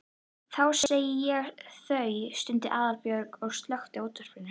Því segi ég það. stundi Aðalbjörg og slökkti á útvarpinu.